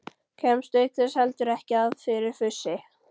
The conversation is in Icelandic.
Kemst auk þess heldur ekki að fyrir fussi